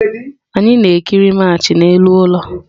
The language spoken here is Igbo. Anyị na-ekiri Match n'elu ụlọ.